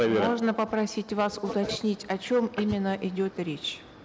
можно попросить вас уточнить о чем именно идет речь